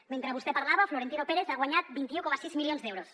mentre vostè parlava florentino pérez ha guanyat vint un coma sis milions d’euros